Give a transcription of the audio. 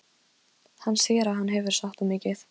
Hann sér að hann hefur sagt of mikið.